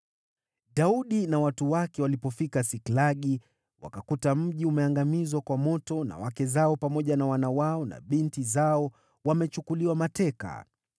Daudi na watu wake walipofika Siklagi, wakakuta mji umeangamizwa kwa moto na wake zao pamoja na wana wao na binti zao wamechukuliwa mateka.